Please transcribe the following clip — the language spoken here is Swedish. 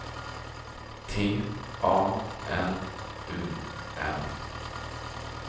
T A N U M